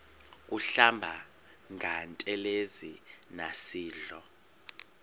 kuhlamba ngantelezi nasidlo